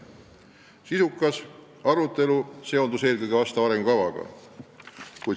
Sisukas arutelu keskendus eelkõige sellele arengukavale.